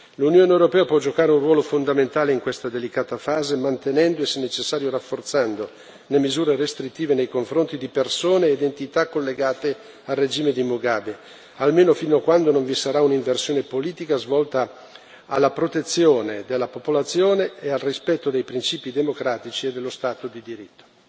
L'Unione europea può giocare un ruolo fondamentale in questa delicata fase mantenendo e, se necessario, rafforzando le misure restrittive nei confronti di persone ed entità collegate al regime di Mugabe, almeno fino a quando non vi sarà un'inversione politica volta alla protezione della popolazione e al rispetto dei principi democratici e dello Stato di diritto.